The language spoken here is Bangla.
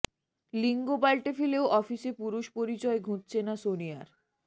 লিঙ্গ পাল্টে ফেলেও অফিসে পুরুষ পরিচয় ঘুঁচছে না সোনিয়ার